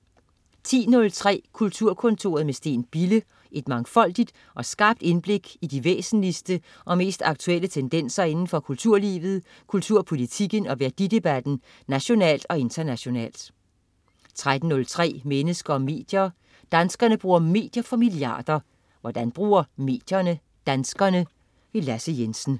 10.03 Kulturkontoret med Steen Bille. Et mangfoldigt og skarpt indblik i de væsentligste og mest aktuelle tendenser indenfor kulturlivet, kulturpolitikken og værdidebatten nationalt og internationalt 13.03 Mennesker og medier. Danskerne bruger medier for milliarder. Hvordan bruger medierne danskerne? Lasse Jensen